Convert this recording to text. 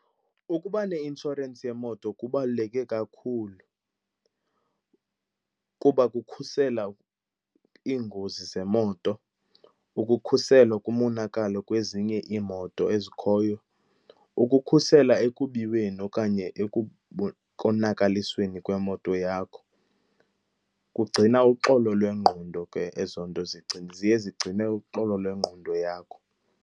Ukuba neinshorensi yemoto kubaluleke kakhulu kuba kukhusela iingozi zemoto, ukukhuselwa kumonakalo kwezinye iimoto ezikhoyo, ukukhusela ekubiweni okanye ekukonakalisweni kwemoto yakho. Kugcina uxolo lwengqondo ke ezo nto, ziye zigcine uxolo lwengqondo yakho.